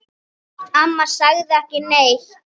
Amma sagði ekki neitt.